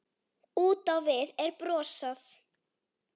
Út á við er brosað.